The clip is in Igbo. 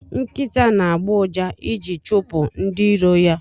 Nkita na agbo ụja iji chipu ndi iro ya.